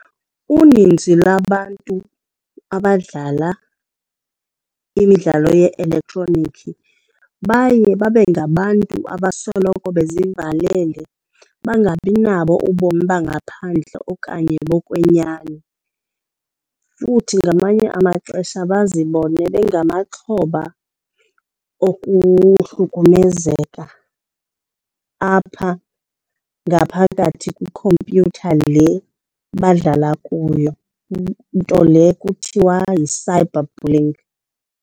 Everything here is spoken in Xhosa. Uninzi lwabantu abadlala imidlalo ye-elektroniki baye babe ngabantu abasoloko bezivalele, bangabi nabo ubomi bangaphandle okanye bokwenyani. Futhi ngamanye amaxesha bazibone bengamaxhoba okuhlukumezeka apha ngaphakathi kwikhompyutha le badlala kuyo, nto le kuthiwa yi-cyberbullying.